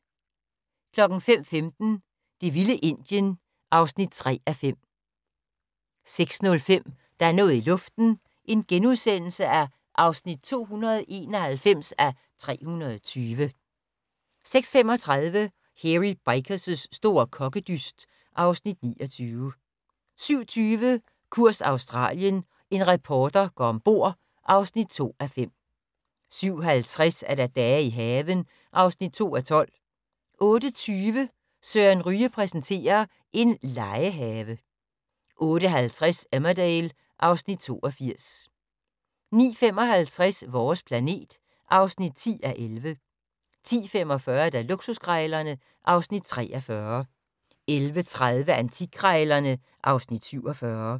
05:15: Det vilde Indien (3:5) 06:05: Der er noget i luften (291:320)* 06:35: Hairy Bikers' store kokkedyst (Afs. 29) 07:20: Kurs Australien - en reporter går om bord (2:5) 07:50: Dage i haven (2:12) 08:20: Søren Ryge præsenterer: En legehave 08:50: Emmerdale (Afs. 82) 09:55: Vores planet (10:11) 10:45: Luksuskrejlerne (Afs. 43) 11:30: Antikkrejlerne (Afs. 47)